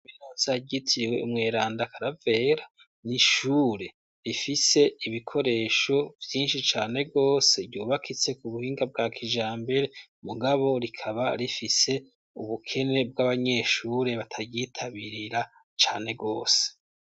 Biranzi aryitiriwe umwerandakaravera niishure rifise ibikoresho vyinshi cane rwose ryubakitse ku buhinga bwa kija mbere mugabo rikaba rifise ubukene bw'abanyeshure batayitabirira cane rwose.